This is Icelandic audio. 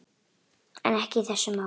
En ekki í þessu máli.